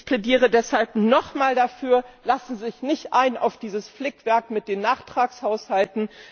Ich plädiere deshalb nochmals dafür Lassen Sie sich nicht ein auf dieses Flickwerk mit den Nachtragshaushalten!